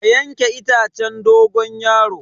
Ka yanke itacen dogon yaro.